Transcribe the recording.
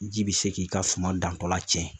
Ji bi se k'i ka suma dantɔra cɛn